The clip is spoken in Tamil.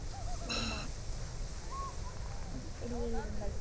ஆமா அப்படியே இருங்கள்